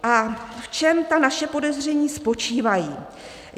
A v čem ta naše podezření spočívají?